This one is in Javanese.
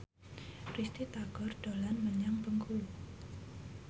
Risty Tagor dolan menyang Bengkulu